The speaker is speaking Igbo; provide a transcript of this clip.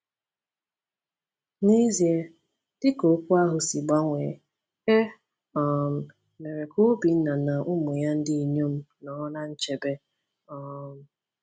N’ezie, dị ka okwu ahụ si gbanwee, e um mere ka Obinna na ụmụ ya ndị inyom nọrọ ná nchebe. um